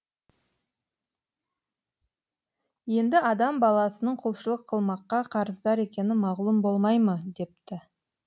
енді адам баласының құлшылық қылмаққа қарыздар екені мағлұм болмай ма депті